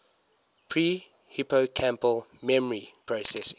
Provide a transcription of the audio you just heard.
pre hippocampal memory processing